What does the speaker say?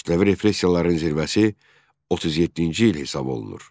Kütləvi repressiyaların zirvəsi 37-ci il hesab olunur.